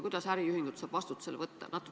Kuidas saab äriühingut vastutusele võtta?